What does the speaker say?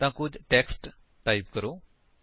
ਤਾਂ ਕੁੱਝ text type ਕਰੋ